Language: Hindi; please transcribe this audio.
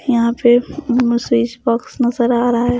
यहाँ पे स्विच बॉक्स नजर आ रहा है।